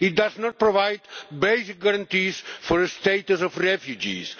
It does not provide basic guarantees of the status of refugees.